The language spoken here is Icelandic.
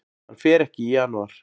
Hann fer ekki í janúar.